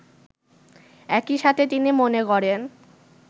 একইসাথে তিনি মনে করেন